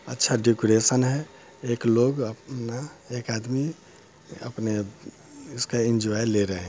अच्छा डेकरैशन है एक लोग अपना एक आदमी अपने उसका एन्जॉय ले रहे हैं।